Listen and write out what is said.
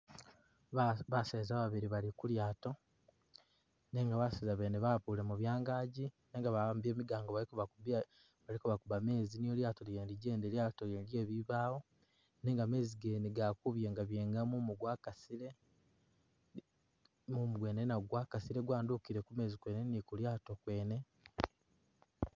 Ba baseza babili bali kulyaato nenga baseza bene bawakulemo byangaji nenga ba'ambile migango bali kebakubiila bali kabakubba mezi niyo lyaato lyene lijjende, lyaato Lyene lye bibaawo nenga mezi gene gali kubyenga byenga, mumu gwakasile, mumu gwene nagwo gwakasile gwandukile ku meezi kwene ni kulyaato kwene